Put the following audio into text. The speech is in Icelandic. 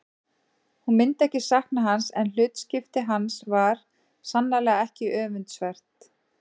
Hún myndi ekki sakna hans en hlutskipti hans var sannarlega ekki öfundsvert.